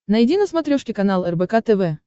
найди на смотрешке канал рбк тв